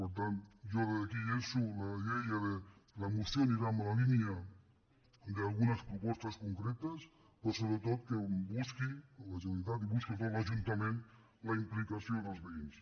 per tant jo des d’aquí llanço la idea que la moció anirà en la línia d’algunes propostes concretes però sobretot que busqui la generalitat i busqui sobretot l’ajuntament la implicació dels veïns